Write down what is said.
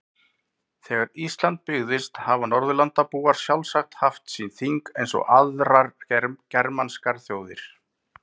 Þegar Ísland byggðist hafa Norðurlandabúar sjálfsagt haft sín þing eins og aðrar germanskar þjóðir.